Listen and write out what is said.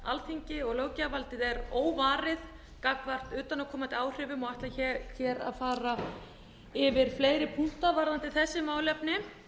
alþingi og löggjafarvaldið er óvarið gagnvart utanaðkomandi áhrifum og ætla ekki að fara yfir fleiri punkta varðandi þessi málefni